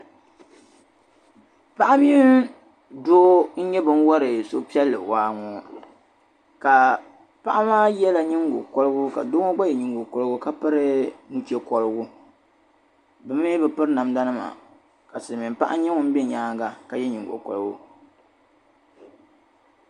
Paɣa mini doo n-nyɛ ban wari suhupiɛlli waa ŋɔ ka paɣa maa yɛla niŋgo kɔligu ka doo ŋɔ yɛ niŋgo kɔligu piri nu'che kɔligu bɛ mii bɛ piri namdanima ka silimiin'paɣa nyɛ ŋun bɛ nyaaŋa ka yɛ niŋgo kɔligu.